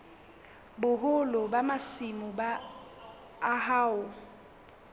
boholo ba masimo a hao